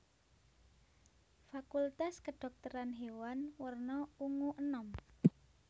Fakultas Kedhokteran Hewan werna ungu enom